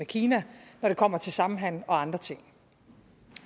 kina når det kommer til samhandel og andre ting